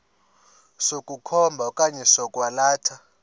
sokukhomba okanye sokwalatha